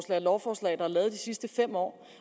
og lovforslag der er lavet gennem de sidste fem år